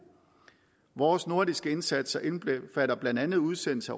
vores nordiske indsatser indbefatter blandt andet udsendelse